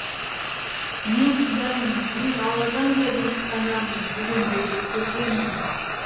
мен құдаймын мен алладан да биік санамын дегендерді көргенмін